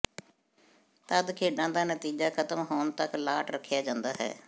ਤਦ ਖੇਡਾਂ ਦਾ ਨਤੀਜਾ ਖਤਮ ਹੋਣ ਤੱਕ ਲਾਟ ਰੱਖਿਆ ਜਾਂਦਾ ਹੈ